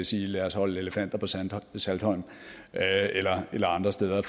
sige lad os holde elefanter på saltholm saltholm eller andre steder